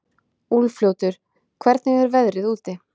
Úlfljótur, hvernig er veðrið úti?